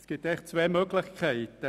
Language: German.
Es gibt zwei Möglichkeiten: